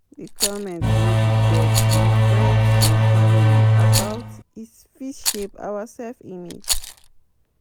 Di comment wey we get from friends and family about is fit shape our self-image